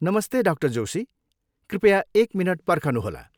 नमस्ते, डा. जोशी। कृपया एक मिनट पर्खनुहोला।